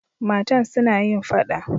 Matan suna yin fada.